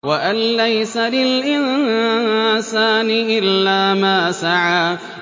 وَأَن لَّيْسَ لِلْإِنسَانِ إِلَّا مَا سَعَىٰ